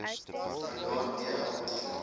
standaard d l